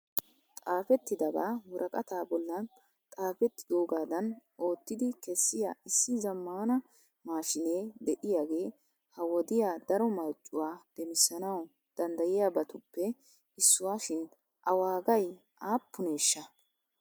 xaafetidaba woraqqata bollaan xafetidoogadan oottidi kessiya issi zammana maashinee de'iyaagee ha wodiyaa daro marccuwa demmisanaw danddayiyabatuppe issuwa shin a wagay aappuneshsha?